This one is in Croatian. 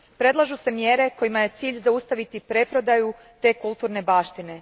Predlažu se mjere kojima je cilj zaustaviti preprodaju te kulturne baštine.